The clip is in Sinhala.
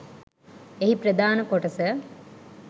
එහි ප්‍රධාන කොටස